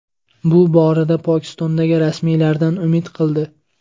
Bu borada u Pokistondagi rasmiylardan umid qildi.